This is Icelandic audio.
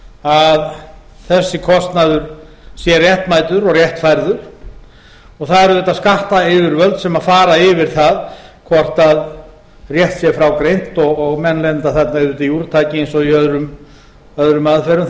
að þessi kostnaður sé réttmætur og réttfærður það eru auðvitað skattayfirvöld sem fara yfir það hvort rétt sé frá greint og menn lenda auðvitað þarna í úrtaki eins og